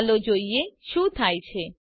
ચાલો જોઈએ શું થાય છે